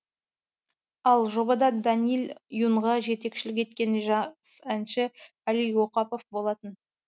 ал жобада даниил юнға жетекшілік еткен жас әнші әли оқапов болатын